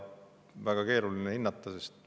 Väga keeruline ongi seda hinnata.